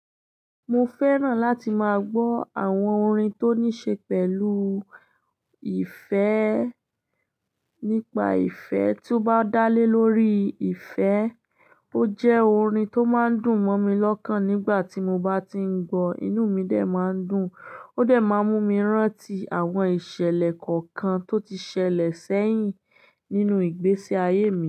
Mo fẹ́ràn láti máa gbọ́ àwọn orin tó ní ṣe pẹ̀lú ìfẹ́ nípa ìfẹ́ tó bá dá lé lórí ìfẹ́. Ó jẹ́ orin tó máa ń dùn mọ́ mi lọ́kàn nígbà tí mo bá ti ń gbọ́, inú mi de máa ń dùn. Ó de máa ń mú mi rántí àwọn ìṣẹ̀lẹ̀ kọ̀ọ̀kan tó ti ṣẹlẹ̀ sẹ́yìn nínú ìgbésí ayé mi.